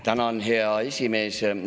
Tänan, hea esimees!